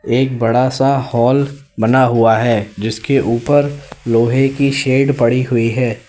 एक बड़ा सा हाल बना हुआ है जिसके ऊपर लोहे की शेड पड़ी हुई है।